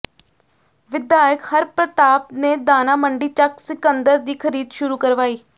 ਵਿਧਾਇਕ ਹਰਪ੍ਰਤਾਪ ਨੇ ਦਾਣਾ ਮੰਡੀ ਚੱਕ ਸਿਕੰਦਰ ਦੀ ਖ਼ਰੀਦ ਸ਼ੁਰੂ ਕਰਵਾਈ